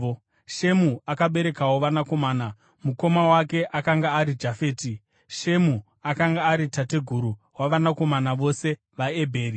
Shemu akaberekerwawo vanakomana, mukoma wake akanga ari Jafeti; Shemu akanga ari tateguru wavanakomana vose vaEbheri.